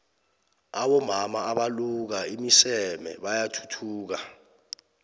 abomama abaluka iimiseme bayathuthuka